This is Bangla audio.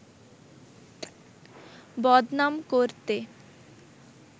বদনাম করতে